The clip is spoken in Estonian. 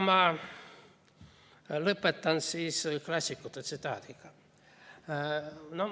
Ma lõpetan klassikute tsitaadiga.